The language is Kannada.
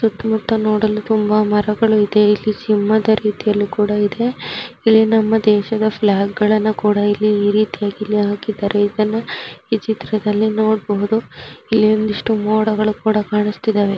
ಸುತ್ತಮುತ್ತಲು ನೋಡಲು ತುಂಬಾ ಮರಗಳು ಇದೆ. ಇಲ್ಲಿ ಸಿಂಹದ ರೀತಿಯಲ್ಲಿ ಕೂಡ ಇದೆ. ಇಲ್ಲಿ ನಮ್ಮ ದೇಶದ ಫ್ಲಾಗ್ ಗಳನ್ನು ಕೂಡ ಇಲ್ಲಿ ಈ ರೀತಿಯಾಗಿ ಇಲ್ಲಿ ಹಾಕಿದ್ದಾರೆ ಇದ್ದಾನ ಈ ಚಿತ್ರದಲ್ಲಿ ನೋಡಬಹುದು. ಇಲ್ಲಿ ಒಂದಿಷ್ಟು ಮೋಡಗಳು ಕೂಡ ಕಾಣಸತ್ತಿದ್ದವೆ.